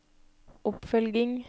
oppfølging